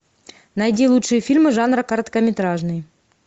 найди лучшие фильмы жанра короткометражный